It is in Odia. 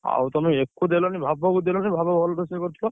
ଆଉ ତମେ, ଏକୁ ଦେଲନି ଭାବକୁ ଦେଲନି ଭାବ ଭଲ ରୋଷେଇ କରୁଥିଲା।